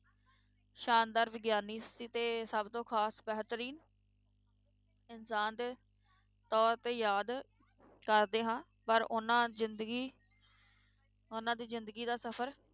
ਸ਼ਾਨਦਾਰ ਵਿਗਿਆਨੀ ਸੀ ਤੇ ਸਭ ਤੋਂ ਖ਼ਾਸ ਬਹਿਤਰੀਨ ਇਨਸਾਨ ਤੇ ਤੌਰ ਤੇ ਯਾਦ ਕਰਦੇ ਹਾਂ, ਪਰ ਉਹਨਾਂ ਜ਼ਿੰਦਗੀ ਉਹਨਾਂ ਦੀ ਜ਼ਿੰਦਗੀ ਦਾ ਸਫ਼ਰ